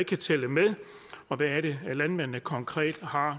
kan tælle med og hvad det er landmændene konkret så har